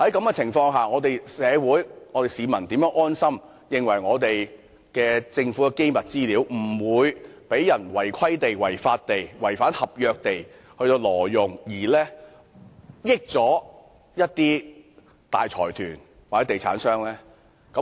在這情況下，社會、市民如何可以安心，相信沒有人會違規、違法、違反合約，挪用政府的機密資料，令大財團或地產商得益呢？